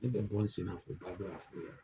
Ne bɛ bɔ n sen na fo baara da la fo yan.